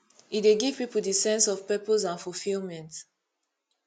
e dey give people di sense of purpose and fulfilment